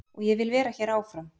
Og ég vil vera hér áfram.